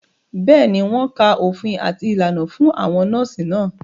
Bẹ́ẹ̀ni, wọ́n ka òfin àti ìlànà fún àwọn nọ́ọ̀sì náà